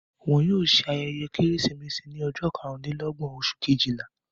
Wọn yóò ṣe ayẹyẹ Kérésìmesì ní ọjọ́ karùn-dín-lọ́gbọ̀n, oṣù Kejìlá.